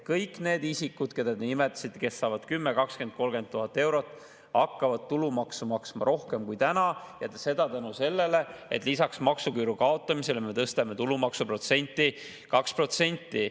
Kõik need isikud, keda te nimetasite, kes saavad 10 000, 20 000 või 30 000 eurot palka, hakkavad tulumaksu maksma rohkem kui täna, ja seda tänu sellele, et lisaks maksuküüru kaotamisele me tõstame tulumaksu protsenti 2%.